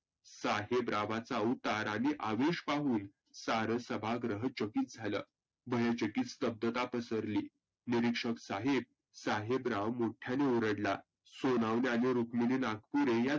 साहेबरावांचा आवतार आणि आवेश पाहून सारं सभागृह थकीत झालं. भयचटीस स्तब्धता पसरली. निरिक्षक साहेब साहेबराव मोठ्याने ओरडला. सोनावने आणि रुक्मिनी नागपुरे या